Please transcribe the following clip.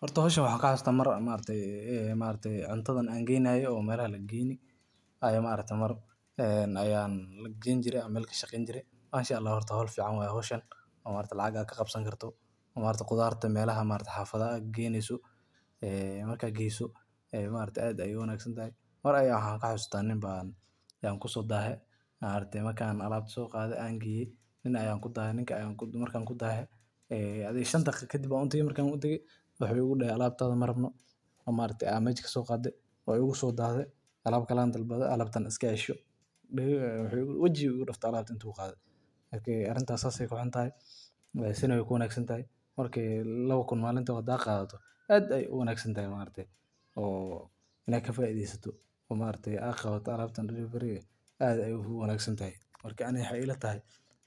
Horta howshan waxan kuxasusta mar maragaty cubtadan an geeynay iyo melaha lageyni mar ayan geynjiray meel kashaqeyn jiray. Mashaallah horta wa howl fican o maragtay lacag ad kaqabsan karto o maragatay khudarta melaha xafadaha gageyneeso e marka geyso e maragtay ad aya u wanagsantahay mar aya waxan kaxasusta Nin ban kusodahay maragtay markan alabta soqaday on geeyi nin ayan kutahay adi shan daqiqo ladib aya utagay wuxu igu dahay wuxu dahay alabtada marabno ad mesha kasoqaday wa igu sodahday alab an dalbaday alabta iska cisho wijiga u iga duuftay alabta marak arinta sas ayay kuxuntahay sina wey kuficantaahy marki labo kuun hada qadato ad ayay u wanagsantahay o ina kafaidheysato o maragtay a qabato alabtan delivery ga ad ayay uwangsantahay marka ani waxay ilatahay